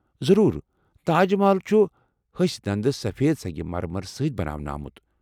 ضروٗر۔ تاج محل چھُ ہسہِ دند سفید سنٛگہ مر مر سۭتۍ بناونہٕ آمُت۔